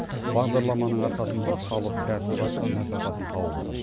бағдарламаның арқасында халық кәсіп ашып нәпақасын тауып отыр